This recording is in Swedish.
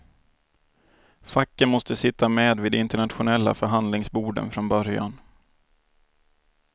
Facken måste sitta med vid de internationella förhandlingsborden från början.